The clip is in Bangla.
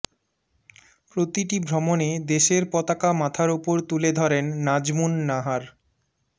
প্রতিটি ভ্রমণে দেশের পতাকা মাথার ওপর তুলে ধরেন নাজমুন নাহার